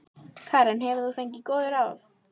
Karen: Hefur þú fengið góð ráð?